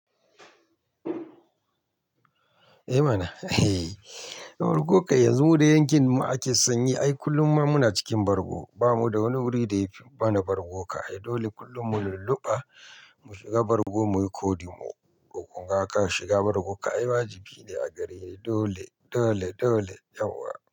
Eh mana, eh. Bargu kawai yanzu mu da yankin mu ake sanyi. Ai kullum ma muna cikin bargo, ba mu da wani wuri da ya fi mana bargo ka. Ai dole kullum mu lulluɓa mu shiga bargo muyi ƙodi mu. Toh kunga a ka shiga bargo ka ai wajibi ne a gare ni. Dole, dole, dole yauwa.